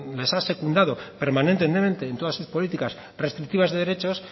les ha secundado permanentemente en todas sus políticas restrictivas de derechos